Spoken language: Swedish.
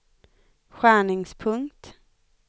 skärningspunkt